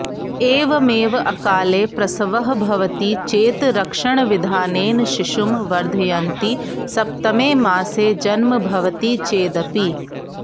एवमेव अकाले प्रसवः भवति चेत् रक्षणविधानेन शिशुं वर्धयन्ति सप्तमे मासे जन्म भवति चेदपि